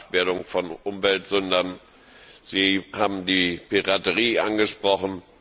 die Habhaftwerdung von Umweltsündern, und Sie haben die Piraterie angesprochen.